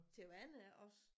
Til vandet også